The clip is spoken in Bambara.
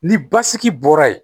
Ni basigi bɔra yen